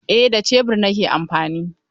Eh da shebur nake amfani.